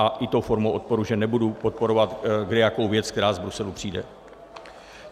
A i tou formou odporu, že nebudu podporovat kdejakou věc, která z Bruselu přijde.